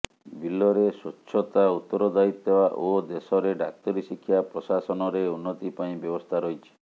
ବିଲରେ ସ୍ୱଚ୍ଛତା ଉତ୍ତରଦାୟିତା ଓ ଦେଶରେ ଡାକ୍ତରୀ ଶିକ୍ଷା ପ୍ରଶାସନରେ ଉନ୍ନତି ପାଇଁ ବ୍ୟବସ୍ଥା ରହିଛି